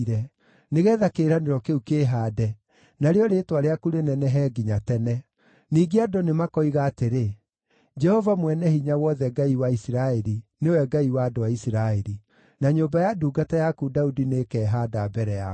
nĩgeetha kĩĩranĩro kĩu kĩĩhaande, narĩo rĩĩtwa rĩaku rĩnenehe nginya tene. Ningĩ andũ nĩmakoiga atĩrĩ, ‘Jehova Mwene-Hinya-Wothe, Ngai wa Isiraeli, nĩwe Ngai wa andũ a Isiraeli!’ Na nyũmba ya ndungata yaku Daudi nĩĩkehaanda mbere yaku.”